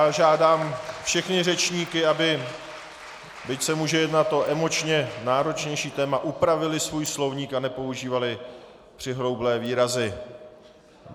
Já žádám všechny řečníky, aby, byť se může jednat o emočně náročnější téma, upravili svůj slovník a nepoužívali přihroublé výrazy.